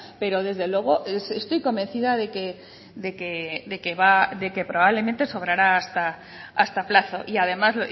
pero desde luego estoy convencida de que va de que probablemente sobrará hasta plazo y además